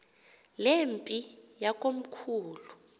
le mpi yakomkhulu